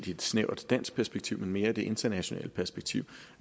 i et snævert dansk perspektiv men altså mere i det internationale perspektiv